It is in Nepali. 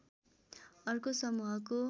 अर्को समूहको